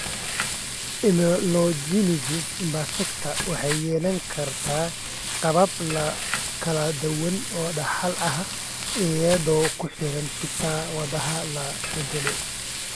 Amelogenesis imperfecta waxay yeelan kartaa qaabab kala duwan oo dhaxal ah, iyadoo ku xiran hidda-wadaha la beddelay.